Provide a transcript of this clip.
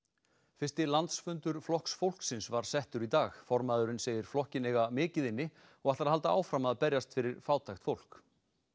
fyrsti landsfundur Flokks fólksins var settur í dag formaðurinn segir flokkinn eiga mikið inni og ætlar að halda áfram að berjast fyrir fátækt fólk